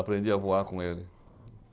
Aprendi a voar com ele.